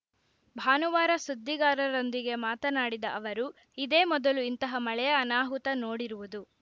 ಭಾನುವಾರ ಸುದ್ದಿಗಾರರೊಂದಿಗೆ ಮಾತನಾಡಿದ ಅವರು ಇದೇ ಮೊದಲು ಇಂತಹ ಮಳೆಯ ಅನಾಹುತ ನೋಡಿರುವುದು